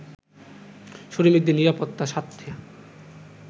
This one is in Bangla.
শ্রমিকদের নিরাপত্তার স্বার্থে